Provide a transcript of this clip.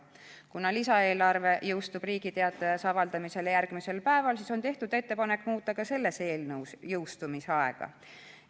Kuna lisaeelarve jõustub Riigi Teatajas avaldamisele järgmisel päeval, siis on tehtud ettepanek muuta ka selles eelnõus jõustumisaega.